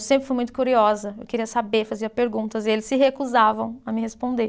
Eu sempre fui muito curiosa, eu queria saber, fazia perguntas, e eles se recusavam a me responder.